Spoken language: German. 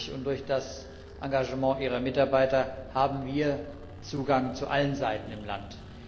Dadurch und durch das Engagement ihrer Mitarbeiter haben wir Zugang zu allen Seiten im Land.